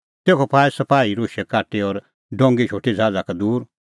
तेखअ पाऐ सपाही राशै काटी और डोंगी शोटी ज़हाज़ा का दूर